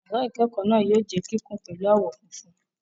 Yàrá ìkẹ́kọ̀ọ́ náà yóò jẹ́ kíkùn pẹ̀lú àwọ̀ funfun.